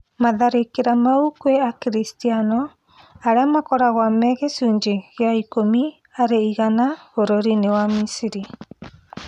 Matharĩkĩra mau kwĩ akiristiano, aria makoragwo me gĩcunjĩ gĩa ikũmi harĩ igana bũrũri-inĩ wa Misri,